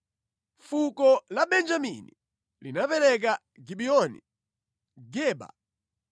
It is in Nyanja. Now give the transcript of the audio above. Fuko la Benjamini linapereka Gibiyoni, Geba,